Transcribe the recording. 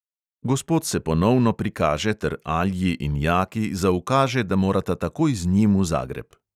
Gospod se ponovno prikaže ter alji in jaki zaukaže, da morata takoj z njim v zagreb.